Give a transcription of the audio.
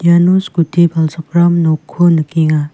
iano skuti palchakram nokko nikenga.